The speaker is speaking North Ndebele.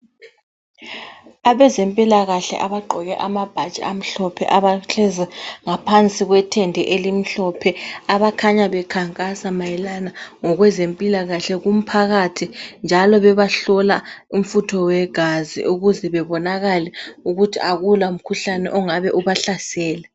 Abezempilakahle abagqoke amabhatshi amhlophe. Abahlezi ngaphansi kwethende elimhlophe. Abakhanya bekhankasa ngokweze mpilakahle kumphakathi. Njalo bebahlola umfutho wegazi ukuze babonakale ukuthi akula mkhuhlane ongabe ubahlasele.